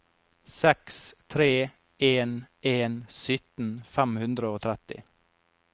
seks tre en en sytten fem hundre og tretti